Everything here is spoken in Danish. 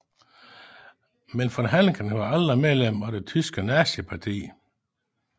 Men von Hanneken var aldrig medlem af det tyske nazistparti